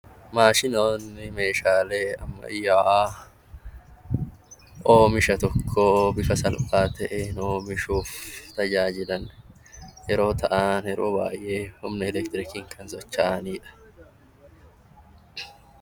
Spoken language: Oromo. Maashinoonni meeshaalee ammayyaawaa oomiisha tokko bifa salphaa ta'een oomishuuf tajaajilan yeroo ta'an, yeroo baay'ee humna elektiriikiin kan socho'ani dha.